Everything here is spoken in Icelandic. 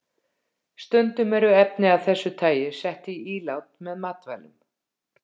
Stundum eru efni af þessu tagi sett í ílát með matvælum.